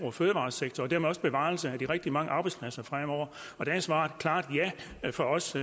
og fødevaresektor og dermed også bevarelse af de rigtig mange arbejdspladser fremover der er svaret et klart ja fra os